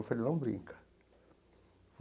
Eu falei, não brinca.